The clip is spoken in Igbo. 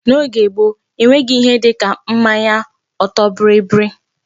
N'oge gboo, e nweghị ihe dịka mmanya ọtọ bịrịbịrị.